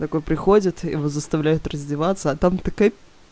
такой приходит и его заставляют раздеваться а там такая